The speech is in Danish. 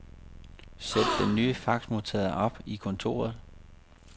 Sæt den nye faxmodtager op i kontoret.